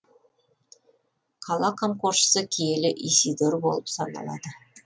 қала қамқоршысы киелі исидор болып саналады